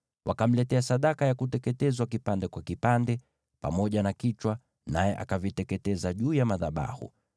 Wakamletea sadaka ya kuteketezwa kipande kwa kipande, pamoja na kichwa, naye akaviteketeza juu ya madhabahu.